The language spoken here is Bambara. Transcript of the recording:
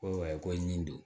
Ko ko ɲi don